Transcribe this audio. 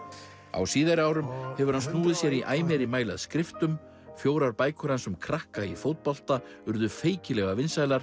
á síðari árum hefur hann snúið sér í æ meira mæli að skriftum fjórar bækur hans um krakka í fótbolta urðu feikilega vinsælar